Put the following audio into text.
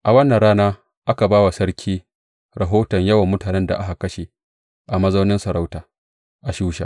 A wannan rana, aka ba wa sarki rahoton yawan mutanen da aka kashe a mazaunin masarauta, a Shusha.